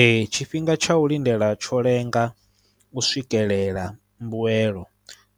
Ee tshifhinga tsha u lindela tsho lenga u swikelela mbuelo